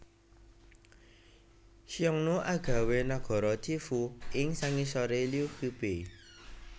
Xiongnu agawé nagara Tiefu ing sangisoré Liu Qubei